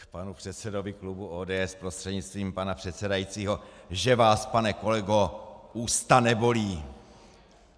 K panu předsedovi klubu ODS prostřednictvím pana předsedajícího: Že vás, pane kolego, ústa nebolí!